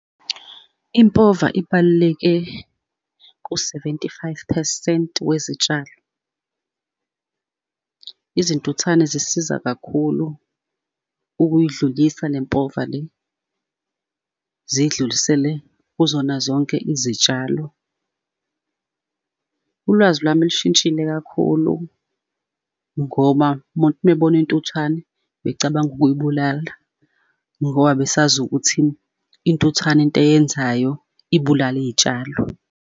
Impova ibaluleke ku-seventy-five phesenti wezitshalo. Izintuthane zisiza kakhulu ukuyidlulisa le mpova le, ziyidlulisele kuzona zonke izitshalo. Ulwazi lwami lushintshile kakhulu, ngoba umuntu uma ebona intuthwane becabanga ukuyibulala ngoba besazi ukuthi intuthwane into eyenzayo ibulala iy'tshalo.